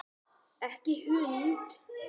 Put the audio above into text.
Ekki hund!